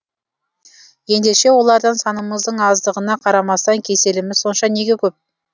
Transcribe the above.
ендеше олардан санымыздың аздығына қарамастан кеселіміз сонша неге көп